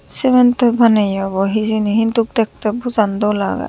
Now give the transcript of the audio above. semantoi banayya obow hejeni hintu drktay doll aagay.